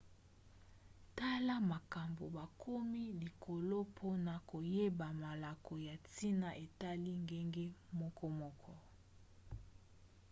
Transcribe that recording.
tala makambo bakomi likolo mpona koyeba malako ya ntina etali ngenge mokomoko